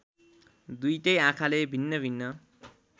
दुईटै आँखाले भिन्नभिन्न